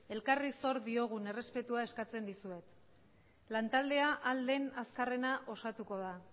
elkarri zor diogun errespetua eskatzen dizuet lan taldea ahal den azkarrena osatuko da